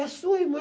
É sua irmã.